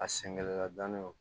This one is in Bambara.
A sɛngɛla dannen don